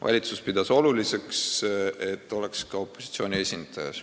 Valitsus pidas oluliseks, et seal oleks ka opositsiooni esindaja.